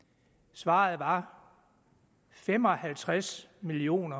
svaret var fem og halvtreds million